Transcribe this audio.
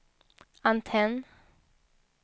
antenn